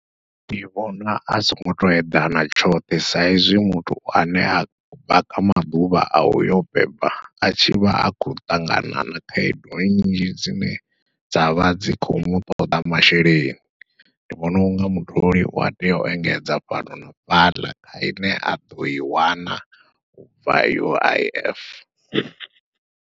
Ndi vhona a songo to eḓana tshoṱhe, sa izwi muthu ane a khou ya kha maḓuvha a uyo beba atshi vha a khou ṱangana na khaedu nnzhi dzine dzavha dzi kho mutoḓa masheleni, ndi vhona unga mutholi ua tea u engedza fhano na fhaḽa ine a ḓoi wana ubva U_I_F.